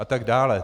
A tak dále.